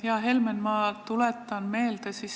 Hea Helmen!